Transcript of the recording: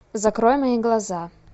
закрой мои глаза